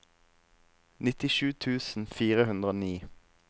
nittisju tusen fire hundre og ni